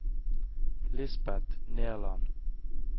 Lisbeth Nerland